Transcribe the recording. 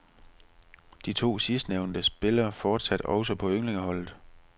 De to sidstnævnte spiller fortsat også på ynglingeholdet.